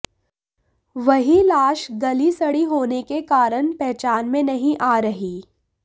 वहीं लाश गली सड़ी होने के कारण पहचान में नहीं आ रही